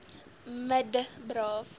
me d braaf